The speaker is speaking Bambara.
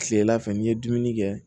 Kilela fɛ n'i ye dumuni kɛ